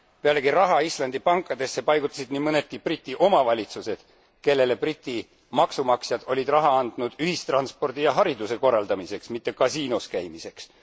Pealegi raha Islandi pankadesse paigutasid nii mõnedki briti omavalitsused, kellele briti maksumaksjad olid raha andnud ühistranspordi ja hariduse korraldamiseks, mitte kasiinos käimiseks.